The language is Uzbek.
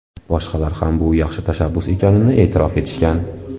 Boshqalar ham bu yaxshi tashabbus ekanini e’tirof etishgan.